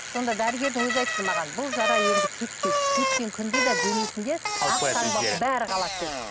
сонда дәрігердің өзі айтты маған бұл жара енді кетпейді кеткен күнде де денесінде бәрі қалады деді